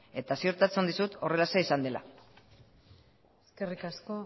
eta ziurtatzen dizut horrelaxe izan dela eskerrik asko